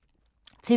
TV 2